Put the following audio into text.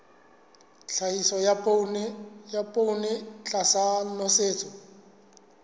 tlhahiso ya poone tlasa nosetso